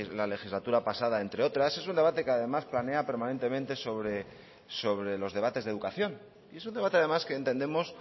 la legislatura pasada entre otras es un debate que además planea permanente sobre los debates de educación y es un debate además que entendemos